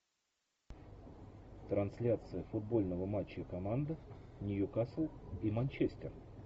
трансляция футбольного матча команд нью касл и манчестер